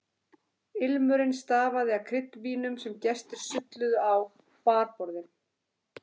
Ilmurinn stafaði af kryddvínum sem gestir sulluðu á barborðin.